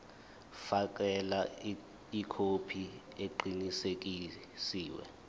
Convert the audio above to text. fakela ikhophi eqinisekisiwe